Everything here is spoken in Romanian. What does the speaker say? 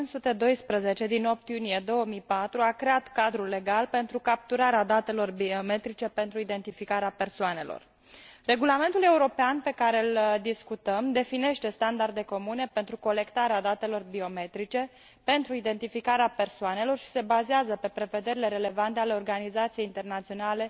512 din 8 iunie 2004 a creat cadrul legal pentru capturarea datelor biometrice pentru identificarea persoanelor. Regulamentul european pe care îl discutăm definește standarde comune pentru colectarea datelor biometrice pentru identificare persoanelor și se bazează pe prevederile relevante ale Organizației Aviației Civile Internaționale.